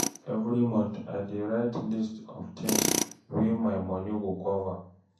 Every month, I dey write list of things wey my money go cover.